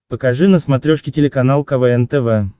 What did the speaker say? покажи на смотрешке телеканал квн тв